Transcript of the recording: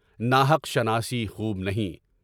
ناحق شناسی خوب نہیں۔